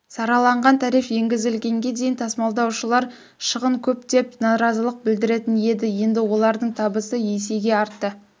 сараланған тариф енгізілгенге дейін тасымалдаушылар шығын көп деп наразылық білдіретін еді енді олардың табысы есеге артты